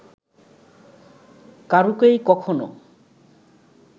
কারুকেই কখনো